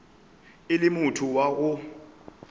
e le motho wa go